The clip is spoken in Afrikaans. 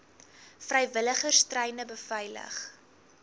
vrywilligers treine beveilig